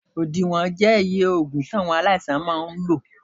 Odiwon je iye ògùn tí aláìsàn máa lò